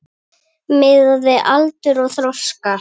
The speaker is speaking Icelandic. Miðað við aldur og þroska.